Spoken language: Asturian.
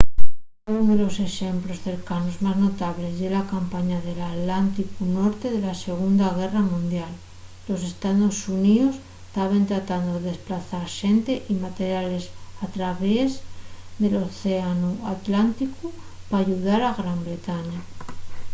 unu de los exemplos cercanos más notables ye la campaña del atlánticu norte de la segunda guerra mundial los estaos xuníos taben tratando de desplazar xente y materiales al traviés del océanu atlánticu p'ayudar a gran bretaña